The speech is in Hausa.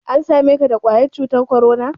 An same ka da ƙwayar cutan korona?